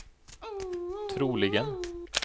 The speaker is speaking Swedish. troligen